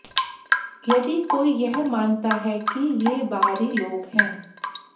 यदि कोई यह मानता है कि ये बाहरी लोग है